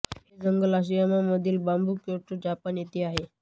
हे जंगल अराशियामा मधील बांबू क्योटो जपान येथे आहे